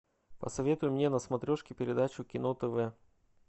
посоветуй мне на смотрешке передачу кино тв